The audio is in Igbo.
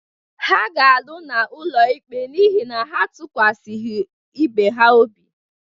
Ha ga-alụ n’ụlọikpe n’ihi na ha atụkwasịghị ibe ha obi